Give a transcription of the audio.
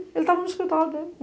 Ele tava no escritório dele.